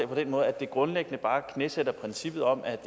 på den måde at det grundlæggende bare knæsætter princippet om at